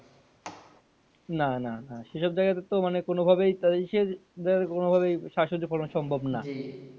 না না না সেসব জায়গা তে তো মানে কোনোভাবেই কোনোভাবেই শাকসবজি ফলান সম্ভব না।